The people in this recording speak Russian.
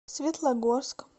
светлогорск